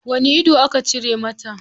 Wani ido aka cire mata?